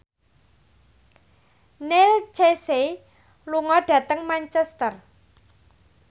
Neil Casey lunga dhateng Manchester